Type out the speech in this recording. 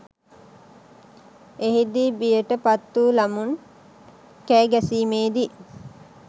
එහිදී බියට පත්වූ ළමුන් කෑ ගැසීමේදී